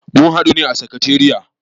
Mun haɗu a sakatariya.